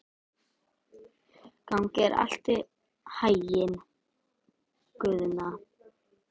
Gangi þér allt í haginn, Guðna.